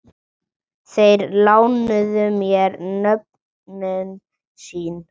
Þeir lánuðu mér nöfnin sín.